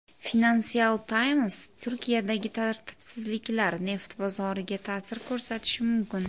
Financial Times: Turkiyadagi tartibsizliklar neft bozoriga ta’sir ko‘rsatishi mumkin.